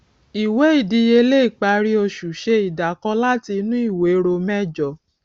ìwé ìdíyelé ìparí oṣù ṣe ìdàkọ láti inú ìwé ro mẹjọ